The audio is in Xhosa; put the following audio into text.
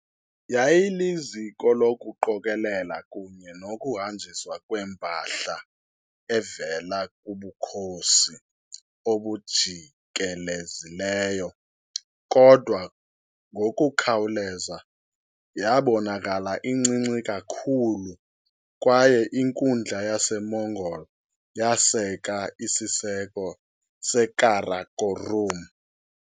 Yayiliziko lokuqokelela kunye nokuhanjiswa kwempahla evela kubukhosi obujikelezileyo, kodwa ngokukhawuleza yabonakala incinci kakhulu kwaye inkundla yaseMongol yaseka isiseko seKarakorum.